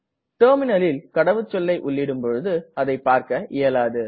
Terminalல் கடவுச்சொல்லை உள்ளிடும் பொழுது அதை பார்க இயலாது